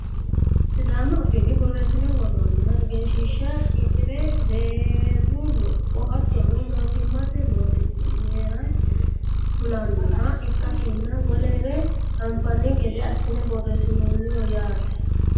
sidaamu afiinni borreessine worroonniha egenshiishsha qixire deerru lopho hattono mootimmate losaasinere kulannoha ikkasinna wolere anfanni gede assine borreessinoonniho yaate .